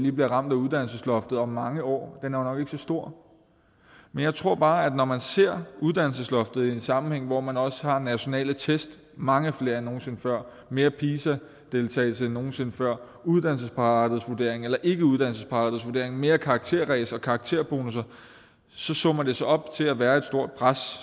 i bliver ramt af uddannelsesloftet om mange år er nok ikke så stor men jeg tror bare at når man ser uddannelsesloftet i en sammenhæng hvor man også har nationale test mange flere end nogen sinde før mere pisa deltagelse end nogen sinde før uddannelsesparathedsvurdering eller ikkeuddannelsesparathedsvurdering mere karakterræs og karakterbonusser så summer det sig op til at være et stort pres